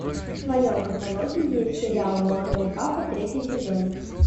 в твоем каталоге есть сериал молодой папа третий сезон